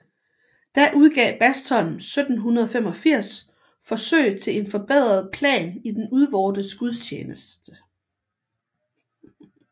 Da udgav Bastholm 1785 Forsøg til en forbedret Plan i den udvortes Gudstjeneste